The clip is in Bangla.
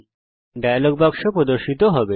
একটি ডায়লগ বাক্স প্রর্দশিত হবে